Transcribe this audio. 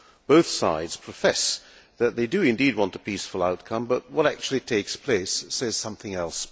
Both sides profess that they do indeed want a peaceful outcome, but what actually takes place says something else.